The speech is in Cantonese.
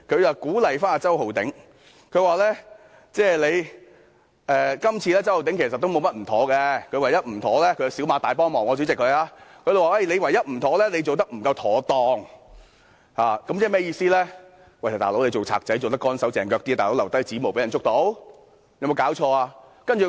她鼓勵周浩鼎議員，說今次周浩鼎議員沒有甚麼不妥——主席，她是小罵大幫忙——她說唯一的不妥是他做得不夠妥當，意思是當小偷應"乾手淨腳"些，不應留下指模被人發現。